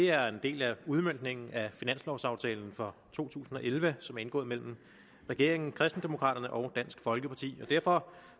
er en del af udmøntningen af finanslovaftalen for to tusind og elleve som er indgået mellem regeringen kristendemokraterne og dansk folkeparti og derfor